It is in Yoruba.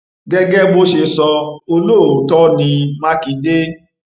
gẹgẹ bó ṣe sọ olóòótọ ní mákindé